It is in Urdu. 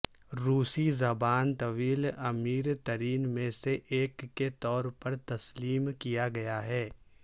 روسی زبان طویل امیر ترین میں سے ایک کے طور پر تسلیم کیا گیا ہے